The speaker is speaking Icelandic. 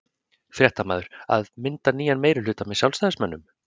Fréttamaður:. að mynda nýjan meirihluta með Sjálfstæðismönnum?